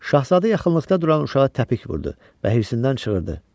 Şahzadə yaxınlıqda duran uşağa təpik vurdu və hirsdən çığırdı: